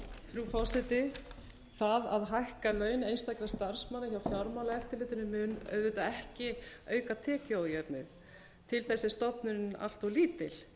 frú forseti það að hækka laun einstakra starfsmanna hjá fjármálaeftirlitinu mun auðvitað ekki auka tekjuójöfnuðinn til þess er stofnunin allt of lítil